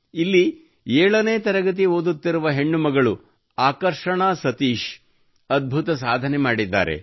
ಇಲ್ಲಿ ಏಳನೇ ತರಗತಿ ಓದುತ್ತಿರುವ ಹೆಣ್ಣು ಮಗಳು ಆಕರ್ಷಣಾ ಸತೀಶ್ ಅದ್ಭುತ ಸಾಧನೆಯನ್ನು ಮಾಡಿದ್ದಾಳೆ